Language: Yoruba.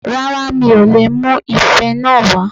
Rárá mi ò leè mú ife náà wá